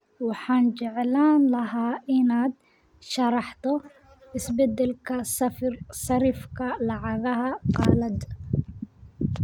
Waxaan jeclaan lahaa inaad sharaxdo isbeddelka sarifka lacagaha qalaad